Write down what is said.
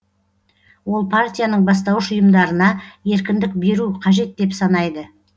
ол партияның бастауыш ұйымдарына еркіндік беру қажет деп санайды